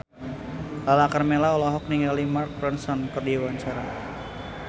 Lala Karmela olohok ningali Mark Ronson keur diwawancara